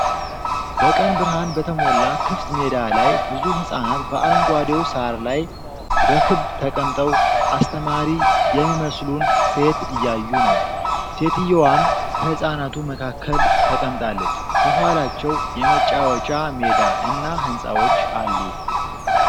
በቀን ብርሃን በተሞላው ክፍት ሜዳ ላይ፣ ብዙ ሕጻናት በአረንጓዴው ሳር ላይ በክብ ተቀምጠው አስተማሪ የሚመስሉን ሴት እያዩ ነው። ሴትዮዋም ከሕጻናቱ መካከል ተቀምጣለች። ከኋላቸው የመጫወቻ ሜዳ እና ሕንፃዎች አሉ።